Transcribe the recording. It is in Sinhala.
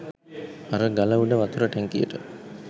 අර ගල උඩ වතුර ටැංකියට